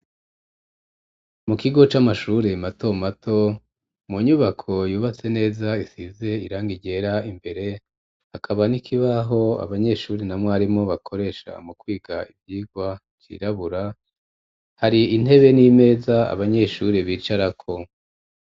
Mu kigo c'amashuri mato mato ,mu nyubako yubatse neza isize irangi ryera imbere, hakaba n'ikibaho abanyeshuri na mwarimu bakoresha mu kwiga ivyigwa cirabura ,hari intebe n'imeza abanyeshuri bicarako.